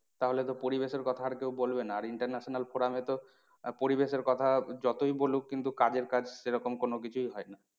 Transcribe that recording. তাহলে তো পরিবেশের কথা আর কেউ বলবে না। আর international তো আহ পরিবেশের কথা যতই বলুক কিন্তু কাজের কাজ সেরকম কিছুই হয় না।